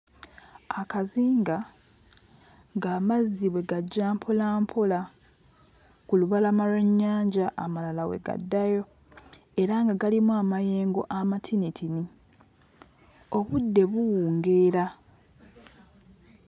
Akazinga ng'amazzi bwe gajja mpolampola ku lubalama lw'ennyanja, amalala we gaddayo era nga galimu amayengo amatinitini; obudde buwungeera.